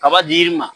Kaba dir'i ma